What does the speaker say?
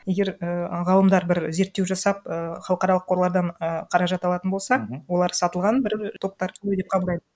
егер ііі ғалымдар бір зерттеу жасап ііі халықаралық қорлардан і қаражат алатын болса олар сатылған бір і топтар деп қабылдайды